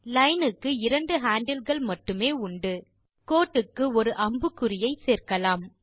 line க்கு 2 handle மட்டுமே உண்டு கோட்டுக்கு ஒரு அம்புக்குறியை சேர்க்கலாம்